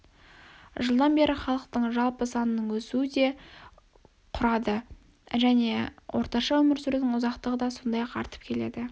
жылдан бері халықтың жалпы санының өсуі ды құрады және орташа өмір сүрудің ұзақтығы да сондай-ақ артып келеді